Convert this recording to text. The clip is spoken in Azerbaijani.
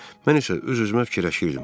Mən isə öz-özümə fikirləşirdim: